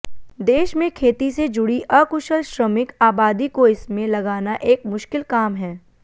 देश में खेती से जुड़ी अकुशल श्रमिक आबादी को इसमें लगाना एक मुश्किल काम है